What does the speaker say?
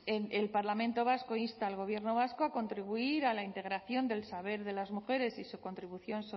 el parlamento vasco insta al gobierno vasco a contribuir a la integración del saber de las mujeres y su contribución